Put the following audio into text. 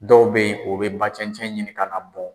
Dɔw bɛ yen o bɛ ba cɛncɛn ɲinin ka n'a bɔn.